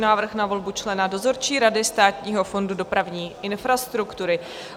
Návrh na volbu člena dozorčí rady Státního fondu dopravní infrastruktury